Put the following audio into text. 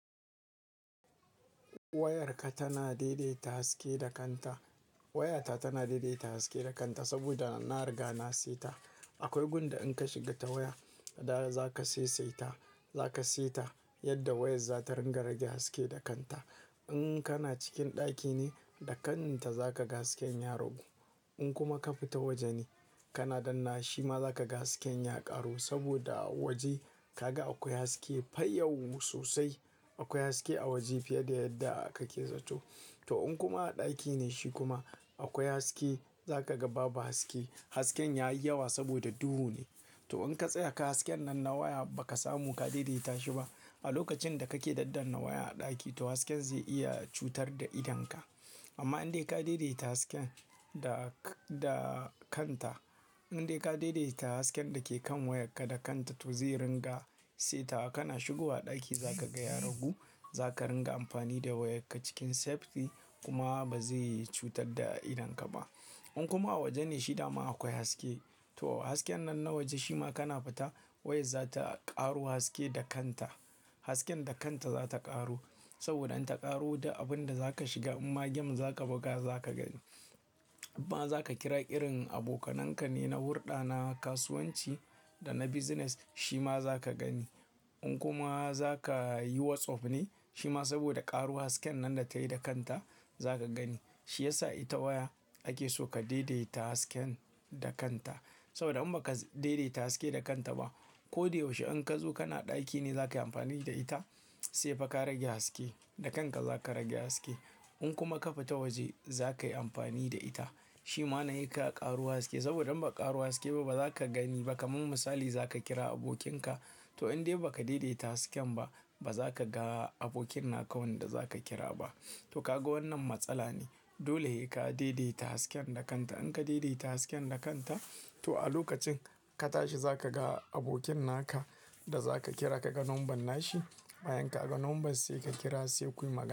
Wayarka tana daidaita haske da kanta. Wayata tana daidaita haske da kanta saboda na riga na seta. Akwai gun da in ka shiga ta waya, da za ka saisaita, za ka seta yadda wayar za ta ringa rage haske da kanta. In kana cikin ɗaki ne da kanta za ka ga hasken ya ragu. In kuma ka fita waje ne, kana dannawa shima za ka ga hasken ya ƙaru saboda a waje kaga akwai haske fa yau sosai. Akwai haske a waje fiye da yadda kake zato. To in kuma a ɗaki ne shi kuma akwai haske, za ka ga babu haske. Hasken ya yi yawa saboda duhu ne. To in ka tsaya ka hasken nan na waya ba ka samu ka daidaita shi ba, a lokacin da kake daddana waya a ɗaki, to hasken zai iya cutar da idonka. Amma in dai ka daidaita hasken da k-da kanta, in dai ka daidaita hasken da ke kan wayarka da kanta, to zai ringa seta. Kana shigowa ɗaki za ka ga ya ragu. Za ka ringa amfani da wayarka cikin safety kuma ba zai cutar da idonka ba. In kuma a waje ne shi dama akwai haske, to hasken nan na waje shi ma kana fita wayar za ta ƙaro haske da kanta. Hasken da kanta za ta ƙaro saboda in ta ƙaro da abin da za ka shiga, in ma game za ka buga za ka gani. In ma za ka kira irin abokanan ka ne na hulɗa, na kasuwanci da na business shi ma za ka gani. In kuma za ka yi WhatsApp ne, shi ma saboda ƙaro hasken nan da ta yi da kanta za ka gani. Shi ya sa ita waya ake so ka daidaita hasken da kanta. Saboda in ba ka daidaita haske da kanta ba, ko da yaushe in ka zo kana ɗaki ne za ka yi amfani da ita, sai fa ka rage haske, da kanka za ka rage haske. In kuma ka fita waje za ka yi amfani da ita, shi ma nan sai ka ƙaro haske. Saboda in ba ƙaro haske ba ba za ka gani ba. Kaman misali za ka kira abokinka, to in dai ba ka daidaita hasken ba, ba za ka ga abokin naka wanda za ka kira ba. To kaga wannan matsala ne. Dole sai ka daidaita hasken da kanta. In ka daidaita hasken da kanka, to a lokacin ka tashi za ka ga abokin naka da za ka kira. Kaga number nashi, bayan ka ga number sai ka kira sai kuyi magana.